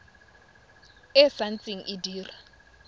e sa ntse e dira